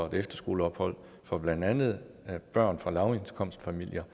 et efterskoleophold for blandt andet børn fra lavindkomstfamilier